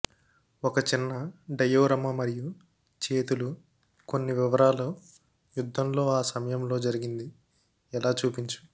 ఒక చిన్న డయోరమ మరియు చేతులు కొన్ని వివరాలు యుద్ధంలో ఆ సమయంలో జరిగింది ఎలా చూపించు